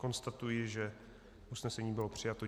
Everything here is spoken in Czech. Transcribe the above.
Konstatuji, že usnesení bylo přijato.